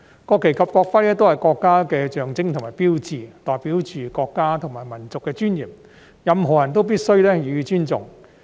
國旗及國徽均是國家的象徵和標誌，代表着國家和民族的尊嚴，任何人都必須予以尊重。